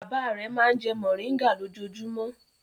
Bàbá rẹ̀ máa ń jẹ mòríngà lójoojúmọ́.